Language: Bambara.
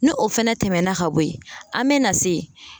Ni o fɛnɛ tɛmɛna ka bo yen, an mɛ na se